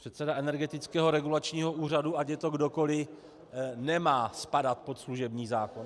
... předseda Energetického regulačního úřadu, ať je to kdokoli, nemá spadat pod služební zákon?